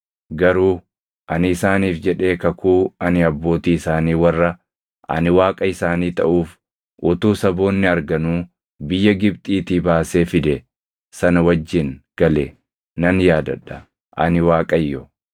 Garuu ani isaaniif jedhee kakuu ani abbootii isaanii warra ani Waaqa isaanii taʼuuf utuu saboonni arganuu biyya Gibxiitii baasee fide sana wajjin gale nan yaadadha. Ani Waaqayyo.’ ”